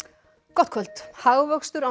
gott kvöld hagvöxtur á